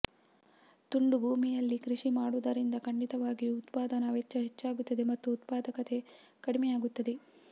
ತುಂಡು ಭೂಮಿಯಲ್ಲಿ ಕೃಷಿ ಮಾಡುವುದರಿಂದ ಖಂಡಿತವಾಗಿಯೂ ಉತ್ಪಾದನಾ ವೆಚ್ಚ ಹೆಚ್ಚಾಗುತ್ತದೆ ಮತ್ತು ಉತ್ಪಾದಕತೆ ಕಡಿಮೆಯಾಗುತ್ತದೆ